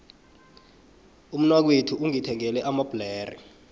umnakwethu ungithengele amabhlere